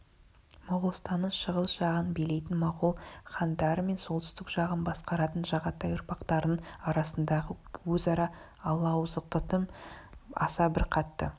моғолстанның шығыс жағын билейтін моғол хандары мен солтүстік жағын басқаратын жағатай ұрпақтарының арасындағы өзара алауыздықтың аса бір қатты